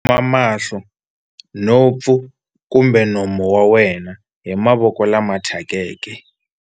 Khoma mahlo, nhompfu kumbe nomo wa wena hi mavoko lama thyakeke.